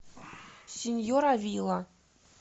сеньор авила